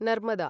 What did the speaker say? Narmada